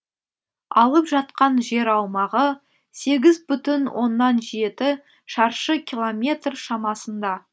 алып жатқан жер аумағы сегіз бүтін оннан жеті шаршы километр шамасында